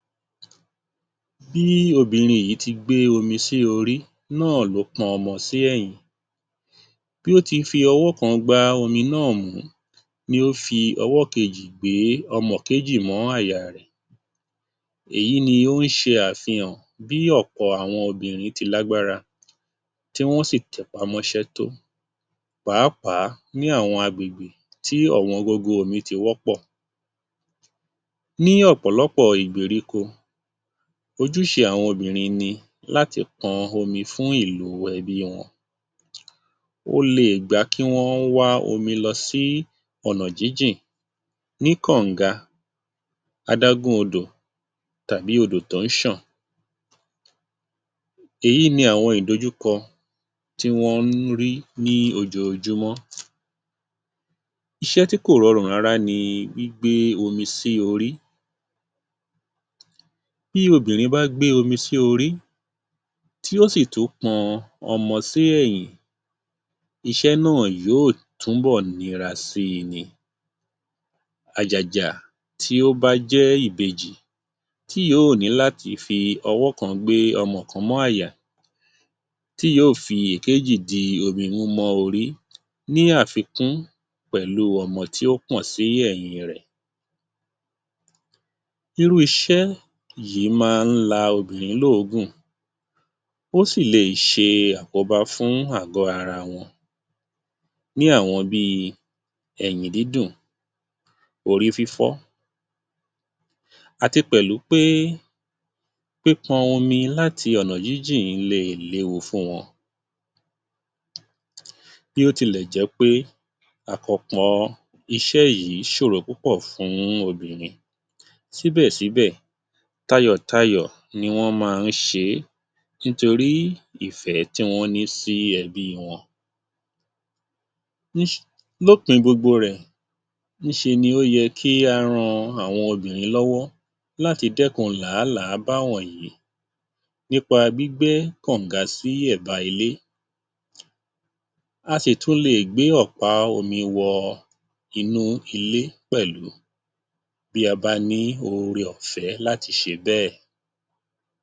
Bí obìnrin yìí ti gbé omi sí orí náà ló pọn ọmọ sí ẹ̀yìn, bi ó ti fi ọwọ́ kan gbá omi náà mú, ni ó fi ọwọ́ kejì gbé ọmọ kejì mọ́ àyà rẹ̀. Èyí ni ó ń ṣe àfihàn bí ọ̀pọ̀ àwọn obìnrin ti lágbára, tí wọ́n sì tẹpá mọ́ ṣẹ́ tó pàápàá ní àwọn agbègbè tí ọ̀wọ́ngógó omi ti wọ́pọ̀. Ní ọ̀pọ̀lọpọ̀ ìgbèríko, ojúṣe àwọn obìnrin ni láti pọn omi fún ìlò ẹbí wọn. Ó lè gbà kí wọ́n wá omi lọ sí ọ̀nà jíjìn ní kọ̀ǹga, adágún odò, tàbí odò tó ń ṣọ̀n. Èyí ni àwọn ìdojúkọ tí wọ́n ń rí ní ojoojúmọ́. Iṣẹ́ tí kò rọrùn rárá ni gbígbé omi sí orí. Bí obìnrin bá gbé omi sí orí, tí ó sì tún pọn ọmọ sí ẹ̀yìn, iṣẹ́ náà yóò túbọ̀ nira si ni. Àjàjà tí ó bá jẹ́ ìbejì tí yóò ní láti fi ọwọ́ kan gbé ọmọ kan mọ́ àyà, tí yóò fi ìkejì di omi mú mọ́ orí ní àfikún pẹ̀lú ọmọ tí ó pọ̀n sí ẹ̀yìn in rẹ̀. Irú iṣẹ́ yìí máa ń la obìnrin ló òógùn, ó sì le ṣe àkóbá fún àgọ́ ara wọn ní àwọn bíi ẹ̀yìn dídùn, orí fífọ́, àti pẹ̀lú pé pípọn omi láti ọ̀nà jíjìn lè léwu fún wọn. Bí ó tilẹ̀ jẹ́ pé àkànpọ̀ iṣẹ́ yìí ṣòro púpọ̀ fún obìnrin. Síbẹ̀ síbẹ̀, tayọ̀ tayọ̀ ni wọ́n máa ń ṣe é nítorí ìfẹ́ tí wọ́n ní sí ẹbí wọn. Lópin gbogbo rẹ̀, ní ṣe ni ó yẹ kí á ran àwọn obìnrin lọ́wọ́ láti dẹkùn làálàá bá wọ̀nyí nípa gbígbẹ́ kọ̀ǹga sí ẹ̀bá ilé, a sì tún lè gbé ọ̀pá omi wọ inú ilé pẹ̀lú bí a bá ní Oore-ọ̀fẹ́ láti ṣe bẹ́ẹ̀.